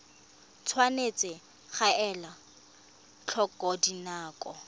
tshwanetse ga elwa tlhoko dinako